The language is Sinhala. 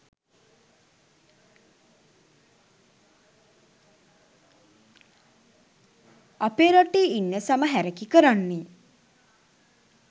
අපේ රටේ ඉන්න සම හැරකි කරන්නෙ